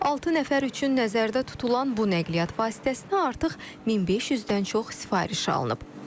Altı nəfər üçün nəzərdə tutulan bu nəqliyyat vasitəsinə artıq 1500-dən çox sifariş alınıb.